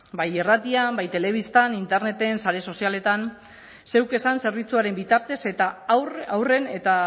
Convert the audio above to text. bai irratian bai telebistan interneten sare sozialetan zeuk esan zerbitzuaren bitartez eta haurren eta